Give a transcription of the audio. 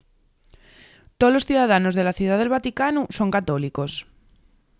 tolos ciudadanos de la ciudá del vaticanu son católicos